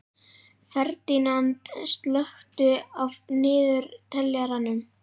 Ferdínand, slökktu á niðurteljaranum.